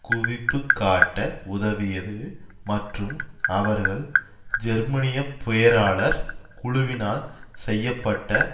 குவிப்பு காட்ட உதவியது மற்றும் அவர்கள் ஜெர்மனிய பேராளர் குழுவினா செய்ய பட்ட